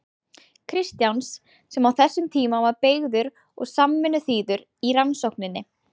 Kristjáns, sem á þessum tíma var beygður og samvinnuþýður í rannsókninni.